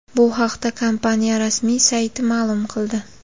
Bu haqda kompaniya rasmiy sayti ma’lum qildi .